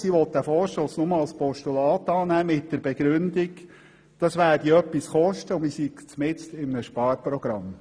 Sie will den Vorstoss nur als Postulat annehmen mit der Begründung, dies werde etwas kosten und man befinde sich mitten in einem Sparprogramm.